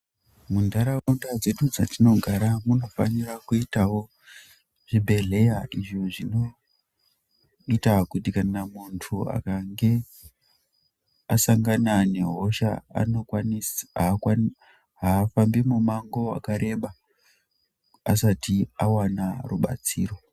Muntaraunda dzedu dzatinogara munofanira kuitawo zvibhedleya izvi zvinoita kuti kana muntu akange asangana nehosha anokwanisa ,haakwanise, haafambi mumango wakareba asati awana rubatsiro.